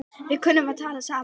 Við kunnum að tala saman.